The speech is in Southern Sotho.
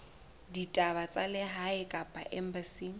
ditaba tsa lehae kapa embasing